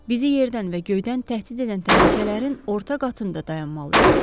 Bizi yerdən və göydən təhdid edən təhlükələrin orta qatında dayanmalıyıq.